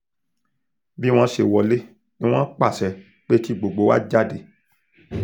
bí wọ́n ṣe wọlé ni wọ́n pàṣẹ pé kí gbogbo wa jáde